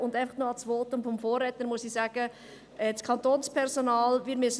Eine Bemerkung zum Votum des Vorredners: Wir müssen dem Kantonspersonal Sorge tragen.